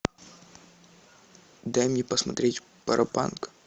дай мне посмотреть паропанк